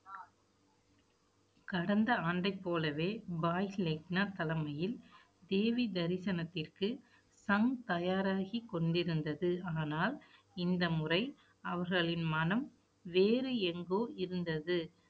கடந்த ஆண்டைப் போலவே பாய் லெக்னா தலைமையில், தேவி தரிசனத்திற்கு சம் தயாராகிக் கொண்டிருந்தது. ஆனால், இந்த முறை அவர்களின் மனம் வேறு எங்கோ இருந்தது